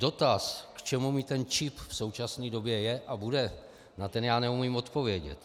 Dotaz, k čemu mi ten čip v současné době je a bude, na ten já neumím odpovědět.